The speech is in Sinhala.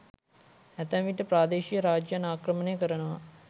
ඇතැම් විට ප්‍රාදේශීය රාජ්‍යයන් ආක්‍රමණය කරනවා.